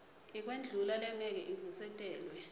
yekwendlula lengeke ivusetelwe